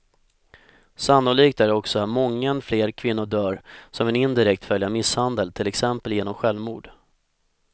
Sannolikt är också att många fler kvinnor dör som en indirekt följd av misshandeln, till exempel genom självmord.